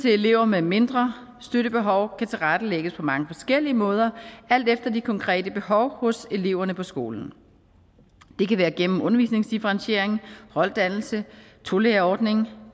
elever med mindre støttebehov kan tilrettelægges på mange forskellige måder alt efter de konkrete behov hos eleverne på skolen det kan være gennem undervisningsdifferentiering holddannelse tolærerordning